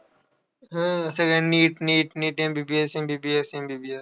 हा सगळं NEET, NEET, NEET, MBBS, MBBS, MBBS